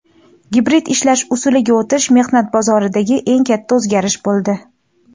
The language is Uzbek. gibrid ishlash usuliga o‘tish mehnat bozoridagi eng katta o‘zgarish bo‘ldi.